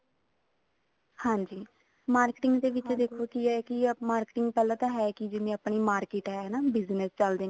ਹਾਂਜੀ marketing ਦੇ ਵਿੱਚ ਦੇਖੋ ਜੀ ਇਹੀ ਹੈ marketing ਪਹਿਲਾਂ ਤਾਂ ਹੈ ਕੀ ੧ਇਵਣ ਆਪਣੀ market ਹੈ business ਚੱਲਦੇ ਨੇ